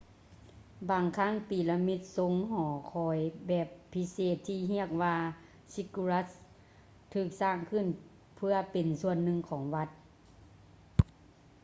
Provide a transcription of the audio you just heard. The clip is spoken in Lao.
ບາງຄັ້ງປີລະມິດຊົງຫໍຄອຍແບບພິເສດ ທີ່ຮຽກວ່າ ຊິກກູຣັດສ໌ ziggurats ຖືກສ້າງຂຶ້ນເພື່ອເປັນສ່ວນໜຶ່ງຂອງວັດ